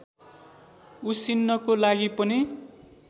उसिन्नको लागि पनि